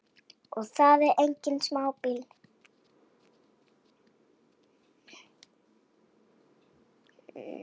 Sko minn.